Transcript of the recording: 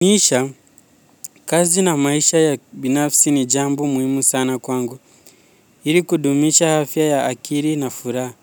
Isha, kazi na maisha ya binafsi ni jambo muhimu sana kwangu. Ili kudumisha afya ya akili na furaha.